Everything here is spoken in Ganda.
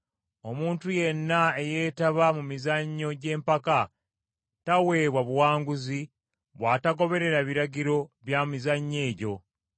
Omuntu yenna eyeetaba mu mizannyo gy’empaka, taweebwa buwanguzi bw’atagoberera biragiro bya mizannyo egyo.